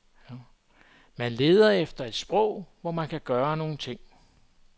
Man leder efter et sprog, hvor man kan gøre nogle ting.